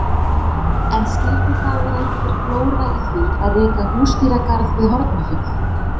En skildi þá vera einhver glóra í því að reka húsdýragarð við Hornafjörð?